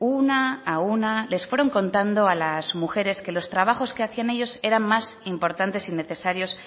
una a una les fueron contando a las mujeres que los trabajos que hacían ellos eran más importantes y necesarios